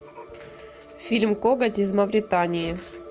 фильм коготь из мавритании